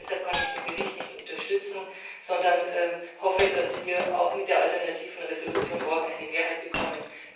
Deshalb kann ich den Bericht nicht unterstützen, sondern hoffe, dass wir auch mit der alternativen Entschließung morgen eine Mehrheit bekommen.